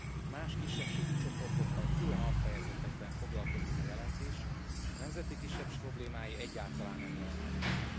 Míg más kisebbségi csoportokkal külön alfejezetekben foglakozik a jelentés, a nemzeti kisebbségek problémái egyáltalán nem jelennek meg.